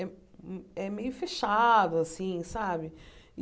É é meio fechado, assim, sabe?